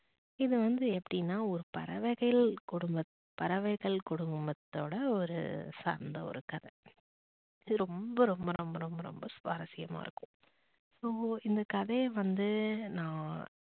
இது வந்து எப்படினா ஒரு பறவைகள் குடும்ப பறவைகள் குடும்பத்தோட ஒரு சார்ந்த ஒரு கதை இது ரொம்ப ரொம்ப ரொம்ப ரொம்ப ரொம்ப சுவாரசியமா இருக்கும் so இந்த கதைய வந்து நான்